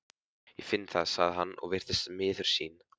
Ég finn það, sagði hann og virtist miður sín.